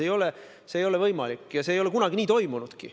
See ei ole võimalik ja see ei ole kunagi nii toimunudki.